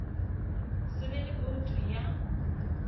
se be le boutu ya